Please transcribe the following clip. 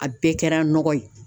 A bɛɛ kɛra nɔgɔ ye